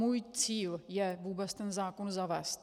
Můj cíl je vůbec ten zákon zavést.